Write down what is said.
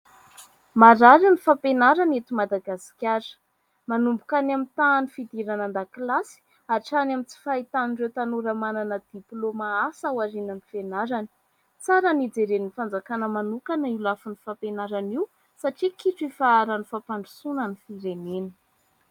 Marary ny fampianarana eto Madagasikara. Manomboka any amin'ny tahan'ny fidirana an-dakilasy hatrany amin'ny tsy fahitan'ireo tanora manana diplaoma asa aorian'ny fianarana. Tsara ny hijeren'ny fanjakana manokana io lafin'ny fampianarana io satria kitro ifaharan'ny fampandrosoana ny firenena.